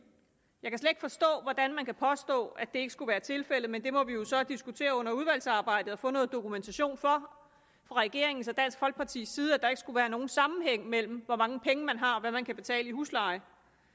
jeg forstå hvordan man kan påstå at det ikke skulle være tilfældet men det må vi jo så diskutere under udvalgsarbejdet og få noget dokumentation fra regeringens og dansk folkepartis side for at der ikke skulle være nogen sammenhæng mellem hvor mange penge man har man kan betale i husleje